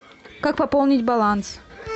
как пополнить баланс